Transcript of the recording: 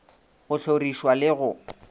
go hloriš wa le go